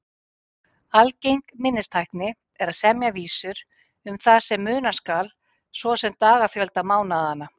Algeng minnistækni er að semja vísur um það sem muna skal, svo sem dagafjölda mánaðanna.